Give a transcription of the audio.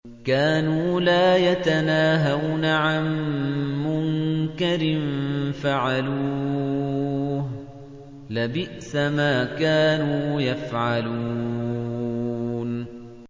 كَانُوا لَا يَتَنَاهَوْنَ عَن مُّنكَرٍ فَعَلُوهُ ۚ لَبِئْسَ مَا كَانُوا يَفْعَلُونَ